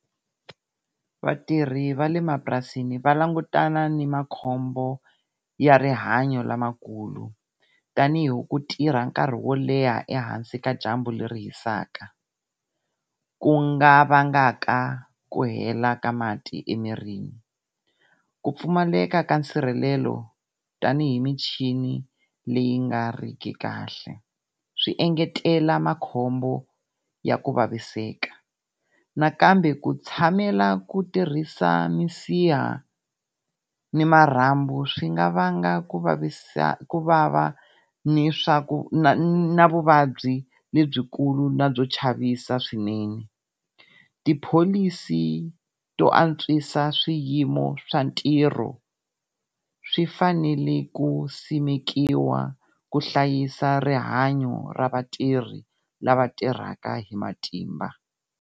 Vatirhi va le mapurasini va langutana ni makhombo ya rihanyo lamakulu, tanihi ku tirha nkarhi wo leha ehansi ka dyambu leri hisaka, ku nga vangaka ku hela ka mati emirini. Ku pfumaleka ka nsirhelelo tanihi michini leyi nga riki kahle swi engetela makhombo ya ku vaviseka. Nakambe ku tshamela ku tirhisa minsiha ni marhambu swi nga vanga ku vava ni swa ku na vuvabyi lebyikulu na byo chavisa swinene. Tipholisi to antswisa swiyimo swa ntirho swi fanele ku simekiwa ku hlayisa rihanyo ra vatirhi lava tirhaka hi matimba.